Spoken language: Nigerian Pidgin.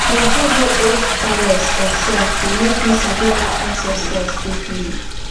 to waka go old palace or shrine go make you sabi how ancestors take live